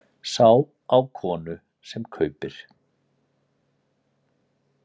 Sá á konu sem kaupir.